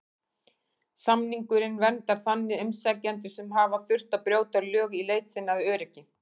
Samningurinn verndar þannig umsækjendur sem hafa þurft að brjóta lög í leit sinni að öryggi.